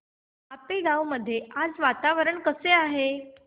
आपेगाव मध्ये आज वातावरण कसे आहे